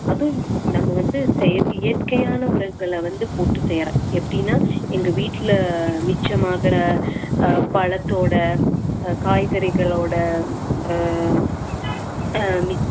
அதுவும் நம்ம வந்து செயற்~ இயற்கையான உரங்களை வந்து போட்டு செய்யறேன் எப்படின்னா எங்க வீட்டுல மிச்சமாகற அஹ் பழத்தோட அஹ் காய்கறிகளோட அஹ்